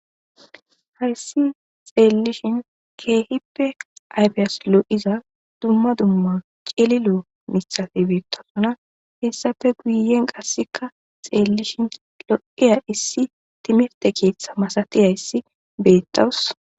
hayssi xeellishin keehippe aypiyas lo7iza dumma dumma cililo misale beettasona hessafe guyen qasseka xeellishin lo7iya issi timirte keeththa masatiya issi beettawus